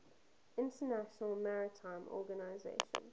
international maritime organization